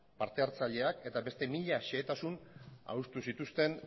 partehartzaileak eta beste mila xehetasun adostu zituzten